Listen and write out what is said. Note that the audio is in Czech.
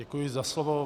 Děkuji za slovo.